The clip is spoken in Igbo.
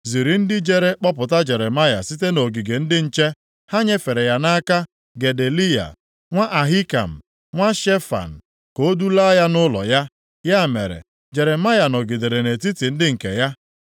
ziri ndị jere kpọpụta Jeremaya site nʼogige ndị nche. Ha nyefere ya nʼaka Gedaliya nwa Ahikam, nwa Shefan, ka o dulaa ya nʼụlọ ya. Ya mere, Jeremaya nọgidere nʼetiti ndị nke ya.